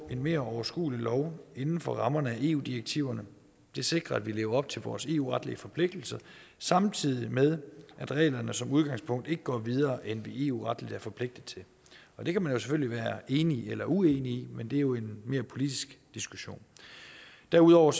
en mere overskuelig lov inden for rammerne af eu direktiverne det sikrer at vi lever op til vores eu retlige forpligtelser samtidig med at reglerne som udgangspunkt ikke går videre end vi eu retligt er forpligtet til det kan man selvfølgelig være enig eller uenig i men det er jo en mere politisk diskussion derudover